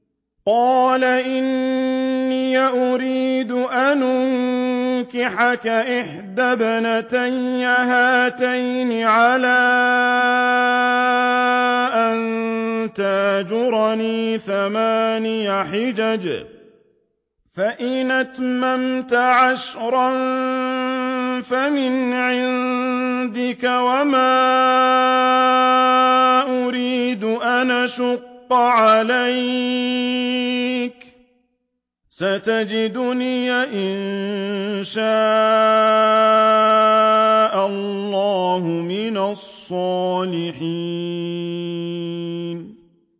قَالَ إِنِّي أُرِيدُ أَنْ أُنكِحَكَ إِحْدَى ابْنَتَيَّ هَاتَيْنِ عَلَىٰ أَن تَأْجُرَنِي ثَمَانِيَ حِجَجٍ ۖ فَإِنْ أَتْمَمْتَ عَشْرًا فَمِنْ عِندِكَ ۖ وَمَا أُرِيدُ أَنْ أَشُقَّ عَلَيْكَ ۚ سَتَجِدُنِي إِن شَاءَ اللَّهُ مِنَ الصَّالِحِينَ